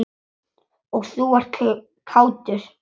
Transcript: Og þú ert kátur.